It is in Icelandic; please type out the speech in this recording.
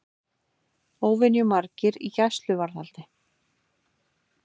Óvenju margir í gæsluvarðhaldi